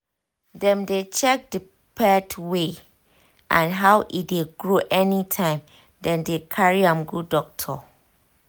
dem dey check the pet weight and how e dey grow anytime dem carry am go doctor